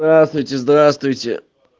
здравствуйте здравствуйте